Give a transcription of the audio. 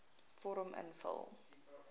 vorm invul